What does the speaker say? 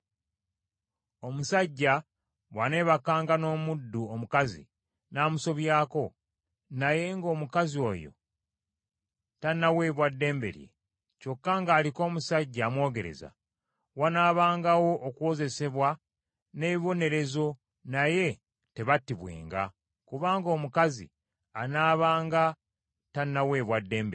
“Omusajja bw’aneebakanga n’omuddu omukazi n’amusobyako, naye ng’omukazi oyo tannaweebwa ddembe lye, kyokka ng’aliko omusajja amwogereza, wanaabangawo okuwozesebwa n’ebibonerezo, naye tebattibwenga, kubanga omukazi anaabanga tannaweebwa ddembe lye.